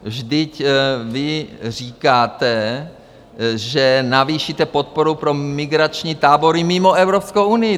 Vždyť vy říkáte, že navýšíte podporu pro migrační tábory mimo Evropskou unii.